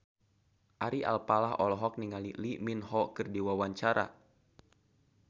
Ari Alfalah olohok ningali Lee Min Ho keur diwawancara